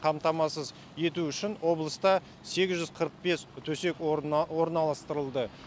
қамтамасыз ету үшін облыста сегіз жүз қырық бес төсек орына орналастырылды